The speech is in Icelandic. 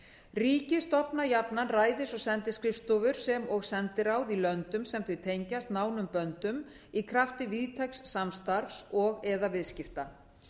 ríki stofna jafnan ræðis og sendiskrifstofur sem og sendiráð í löndum sem þau tengjast nánum böndum í krafti víðtæks samstarfs og eða viðskipta